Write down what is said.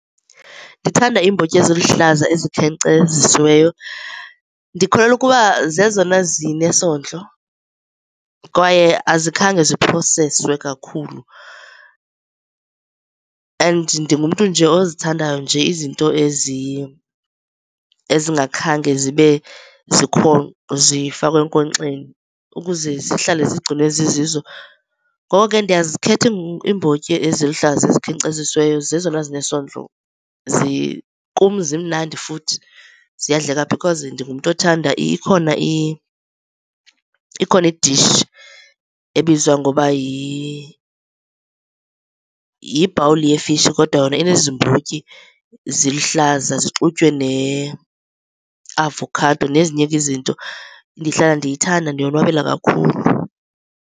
Ndithanda iimbotyi eziluhlaza ezikhenkcezisiweyo. Ndikholelwa ukuba zezona zinesondlo kwaye azikhange ziphroseswe kakhulu, and ndingumntu nje ozithandayo nje izinto ezingakhange zibe zifakwe enkonkxeni ukuze zihlale zigcinwe zizizo. Ngoko ke, ndiyazikhetha iimbotyi eziluhlaza ezikhenkcezisiweyo, zezona zinesondlo. Kum zimnandi futhi ziyadleka because ndingumntu othanda ikhona i-dish ebizwa ngokuba yibhawuli yefishi kodwa yona enezi mbotyi ziluhlaza zixutywe ne avokhado nezinye ke izinto. Ndihlala ndiyithanda, ndiyobonwabela kakhulu.